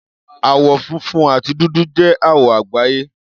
Àwọ̀ funfun àti dúdú jẹ́ àwọ̀ àgbáyé.